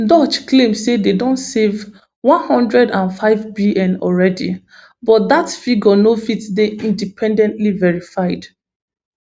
doge claim say dem don save one hundred and fivebn already but dat figure no fit dey independently verified